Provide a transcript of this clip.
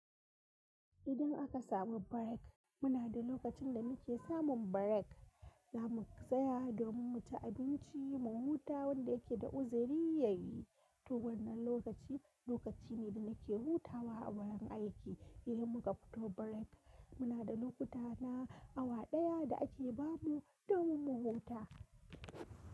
Idan aka samu break, muna da lokacin da muke samun break za mu tsaya domin mu ci abinci, mu huta wanda yake da uziri yayi. To wannan lokaci, lokaci ne da nake hutawa a wurin aiki idan muka fito break. Muna da lokuta na awa ɗaya da ake bamu domin mu huta.